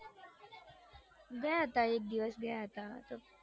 ગયા તા એક દિવસ ગયા તો